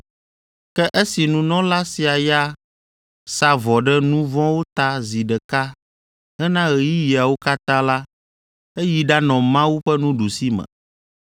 Ke esi nunɔla sia ya sa vɔ ɖe nu vɔ̃wo ta zi ɖeka hena ɣeyiɣiawo katã la eyi ɖanɔ Mawu ƒe nuɖusime.